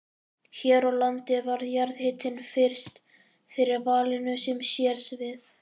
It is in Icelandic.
Hér á landi varð jarðhitinn fyrst fyrir valinu sem sérsvið.